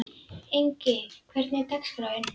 Ingi, hvernig er dagskráin?